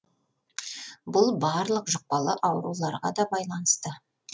бұл барлық жұқпалы ауруларға да байланысты